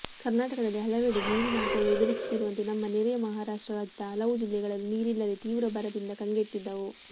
ಕರ್ನಾಟಕದಲ್ಲಿ ಹಲವೆಡೆ ನೀರಿನ ಅಭಾವ ಎದುರಿಸುತ್ತಿರುವಂತೆ ನಮ್ಮ ನೆರೆಯ ಮಹಾರಾಷ್ಟ್ರ ರಾಜ್ಯದ ಹಲವು ಜಿಲ್ಲೆಗಳೂ ನೀರಿಲ್ಲದೇ ತೀವ್ರ ಬರದಿಂದ ಕಂಗೆಟ್ಟಿದ್ದವು